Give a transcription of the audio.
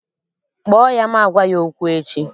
Kpọọ ya ma gwa ya okwu echi!